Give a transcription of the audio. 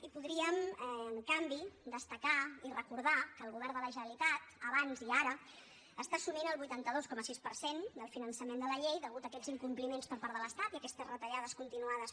i podríem en canvi destacar i recordar que el govern de la generalitat abans i ara està assumint el vuitanta dos coma sis per cent del finançament de la llei a causa d’aquests incompliments per part de l’estat i aquestes retallades continuades